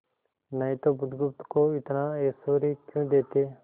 नहीं तो बुधगुप्त को इतना ऐश्वर्य क्यों देते